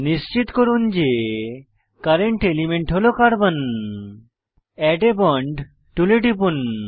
নিশ্চিত করুন যে কারেন্ট এলিমেন্ট হল কার্বন এড a বন্ড টুলে টিপুন